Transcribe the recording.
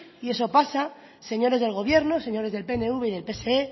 y eso pasa señores del gobierno señores del pnv y del pse